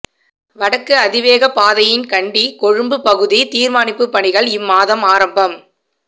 வடக்கு அதிவேக பாதையின் கண்டி கொழும்பு பகுதி நிர்மாணிப்புப் பணிகள் இம்மாதம் ஆரம்பம்